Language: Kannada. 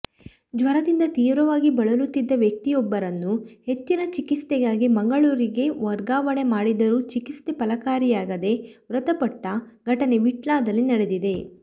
ಜ್ವರದಿಂದ ತೀವ್ರವಾಗಿ ಬಳಲುತ್ತಿದ್ದ ವ್ಯಕ್ತಿಯೊಬ್ಬರನ್ನು ಹೆಚ್ಚಿನ ಚಿಕಿತ್ಸೆಗಾಗಿ ಮಂಗಳೂರಿಗೆ ವರ್ಗಾವಣೆ ಮಾಡಿದರೂ ಚಿಕಿತ್ಸೆ ಫಲಕಾರಿಯಾಗದೆ ಮೃತಪಟ್ಟ ಘಟನೆ ವಿಟ್ಲದಲ್ಲಿ ನಡೆದಿದೆ